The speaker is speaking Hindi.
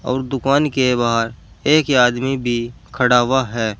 दुकान के बाहर एक आदमी भी खड़ा हुआ है।